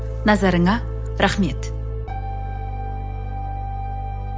назарыңа рахмет